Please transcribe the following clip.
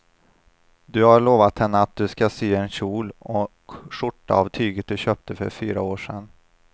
Du har lovat henne att du ska sy en kjol och skjorta av tyget du köpte för fyra år sedan.